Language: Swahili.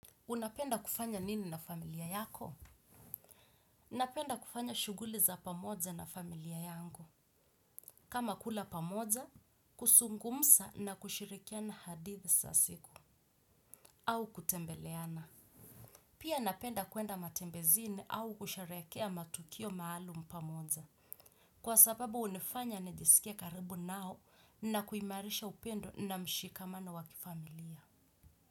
Unapenda kufanya nini na familia yako? Napenda kufanya shuguli za pamoja na familia yangu. Kama kula pamoja, kuzungumza na kushirikiana hadithi za siku. Au kutembeleana. Pia napenda kuenda matembezini au kusherehekea matukio maalum pamoja. Kwa sababu hunifanya nijisikie karibu nao na kuimarisha upendo na mshikamano wa kifamilia.